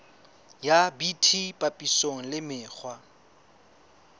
ya bt papisong le mekgwa